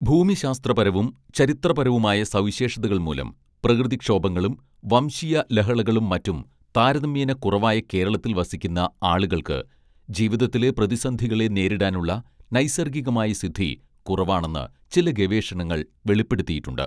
ഭൂമിശാസ്ത്രപരവും ചരിത്രപരവുമായ സവിശേഷതകൾമൂലം പ്രകൃതിക്ഷോഭങ്ങളും വംശീയലഹളകളും മറ്റും താരതമ്യേന കുറവായ കേരളത്തിൽ വസിക്കുന്ന ആളുകൾക്ക് ജീവിതത്തിലെ പ്രതിസന്ധികളെ നേരിടാനുള്ള നൈസർഗികമായ സിദ്ധി കുറവാണെന്ന് ചില ഗവേഷണങ്ങൾ വെളിപ്പെടുത്തിയിട്ടുണ്ട്